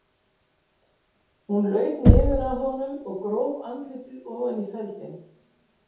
Hún laut niður að honum og gróf andlitið ofan í feldinn.